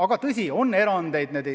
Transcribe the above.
Aga tõsi, on erandeid.